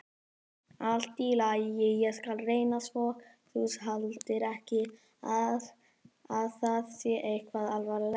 Allt í lagi, ég skal reyna svo þú haldir ekki að það sé eitthvað alvarlegt.